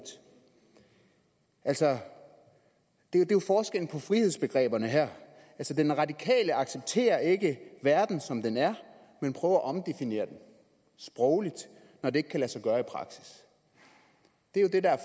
altså det er jo forskellen på frihedsbegreberne her den radikale accepterer ikke verden som den er men prøver at omdefinere den sprogligt når det ikke kan lade sig gøre i praksis det er jo det der er